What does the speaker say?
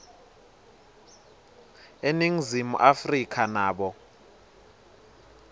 eningizimu afrika nabo